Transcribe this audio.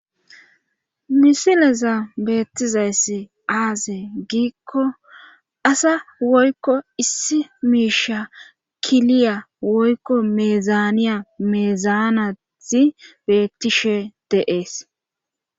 misileza beettizayssi aaze giikko asa woykko issi miisha kiliya woykko meezaaniya meezaanazi beettishe deees